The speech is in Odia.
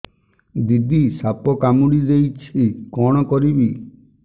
ଦିଦି ସାପ କାମୁଡି ଦେଇଛି କଣ କରିବି